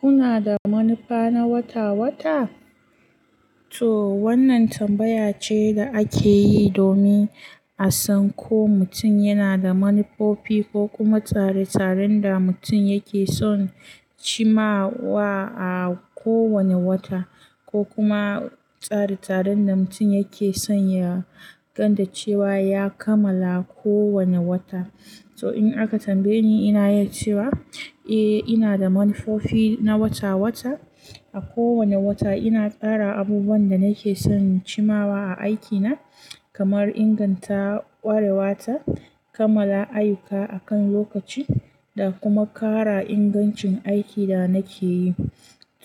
Kuna da manufa na wata-wata? To wannan tambaya ce da ake yi domin a san ko mutum yana da manufofi ko kuma tsare-tsaren da mutum yake son cimawa a kowane wata, ko kuma tsare-tsaren da mutum yake son ya ganda cewa ya kammala kowane wata. So in aka tambaye ni, ina yace wa, eh ina da manufofi na wata-wata. A kowane wata ina tsara abubuwan da nake son cimawa a aikina, kamar inganta kwarewa ta, kammala ayyuka akan lokaci, da kuma ƙara ingancin aikin da nake yi.